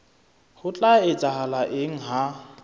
ho tla etsahala eng ha